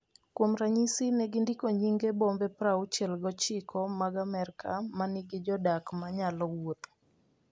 Kuom ranyisi, ne gindiko nyinge bombe 69 mag Amerka ma nigi jodak ma nyalo wuotho.